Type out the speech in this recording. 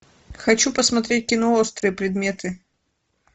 хочу посмотреть кино острые предметы